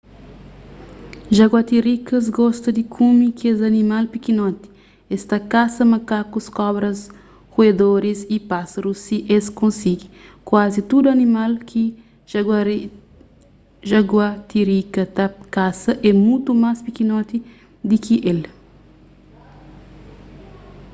jaguatirikas gosta di kume kes animal pikinoti es ta kasa makakus kobras ruedoris y pásarus si es konsigi kuazi tudu animal ki jaguatirika ta kasa é mutu más pikinoti di ki el